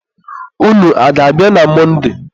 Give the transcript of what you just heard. ụnụ a ga-abịa na Mọnde?